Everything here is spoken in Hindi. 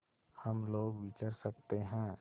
हम लोग विचर सकते हैं